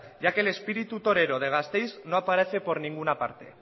ya que el espíritu torero de gasteiz no aparece por ninguna parte